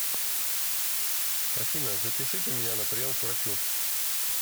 афина запишите меня на прием к врачу